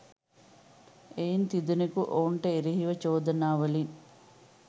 එයින් තිදෙනකු ඔවුන්ට එරෙහි චෝදනාවලින්